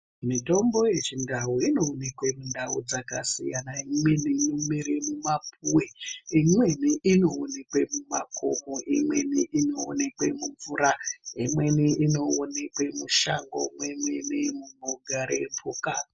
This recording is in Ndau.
Mitombo yechindau inoonekwe mundau dzakasiyana imweni inomere mumapuwe imweni inoonekwe mumakomo imweni inoonekwe mumvura imweni inoonekwe mushango mwemene munogare mhuka.